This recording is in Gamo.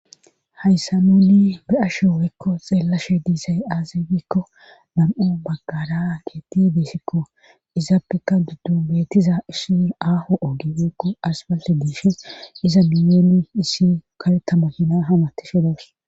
Hayssa muuni be'ashe weekko xeellashe diisay aazi gikko nam'o baggara geetti beesikko izaappeka duddu beettiza issi aahu ogi wekko asballe diishis iza miyeoni issi kalettamahina hamati shidaws.